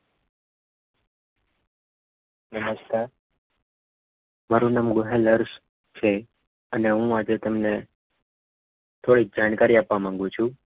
નમસ્કાર મારું નામ ગોહિલ હર્ષ છે અને હું આજે તમને થોડીક જાણકારી આપવા માગું છું.